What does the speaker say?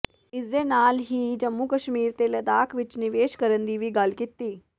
ਇਸ ਦੇ ਨਾਲ ਹੀ ਜੰਮੂ ਕਸ਼ਮੀਰ ਤੇ ਲਦਾਖ਼ ਵਿੱਚ ਨਿਵੇਸ਼ ਕਰਨ ਦੀ ਵੀ ਗੱਲ ਕੀਤੀ